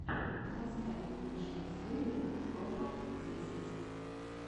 поставь лучшую серию топа десять